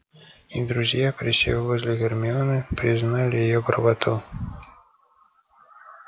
и друзья присев возле гермионы признали её правоту